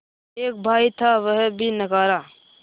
एक भाई था वह भी नाकारा